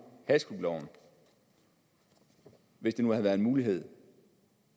hashklubloven hvis det nu havde været en mulighed